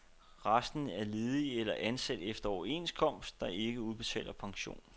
Resten er ledige eller ansat efter en overenskomst, der ikke udbetaler pension.